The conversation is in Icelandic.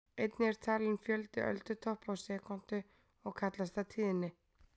Einnig er talinn fjöldi öldutoppa á sekúndu og kallast það tíðni.